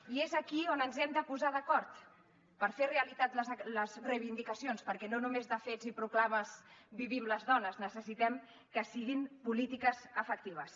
i és aquí on ens hem de posar d’acord per fer realitat les reivindicacions perquè no només de fets i proclames vivim les dones necessitem que siguin polítiques efectives